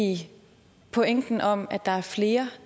i pointen om at der er flere